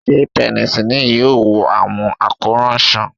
Ṣe penicillin yoo wo awọn akoran sàn?